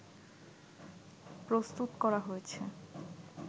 প্রস্তুত করা হয়েছে